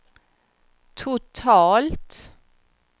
totalt